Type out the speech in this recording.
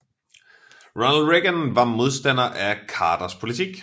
Ronald Reagan var modstander af Carters politik